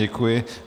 Děkuji.